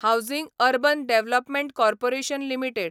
housing urban development corporation limited